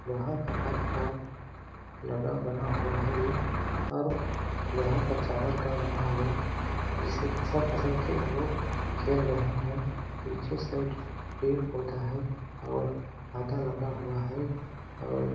लोहा का पाइप का लगा बना हुआ है और लोहे का चादर का बना हुआ जिसे खसल-खसल के लोग खेल रहे है पीछे साइड पेड़- पौधा है और हाता लगा हुआ है और --